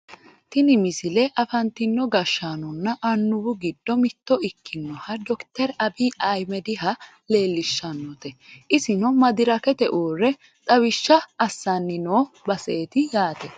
tini misile afantino gashshaanonna annuwu giddo mitto ikkinoha dokiteri abiyi ayiimediha leellishshannote isino madirakete uurre xawishsha assanni noo baseeti yaate